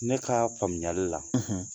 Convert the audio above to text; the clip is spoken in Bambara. Ne ka faamuyali la